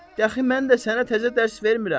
Dəxi mən də sənə təzə dərs vermirəm.